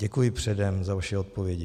Děkuji předem za vaše odpovědi.